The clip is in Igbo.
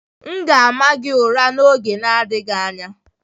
M ga-ama gị ụra n'oge adịghị anya